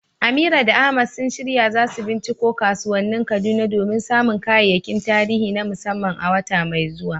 Amira da Ahmad sun shirya za su binciko kasuwannin Kaduna domin samun kayayyakin tarihi na musamman a wata mai zuwa.